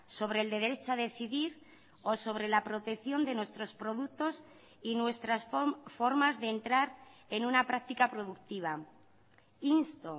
sobre el derecho a decidir o sobre la protección de nuestros productos y nuestras formas de entrar en una práctica productiva insto